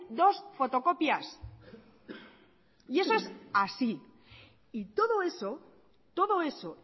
dos fotocopias y eso es así y todo eso todo eso